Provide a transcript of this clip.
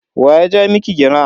Wa ya ja miki gira?